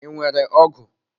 I nwere ọgụ?